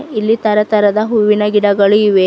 ಇಲ್ಲಿ ತರ ತರಹದ ಹೂವಿನ ಗಿಡಗಳು ಇವೆ.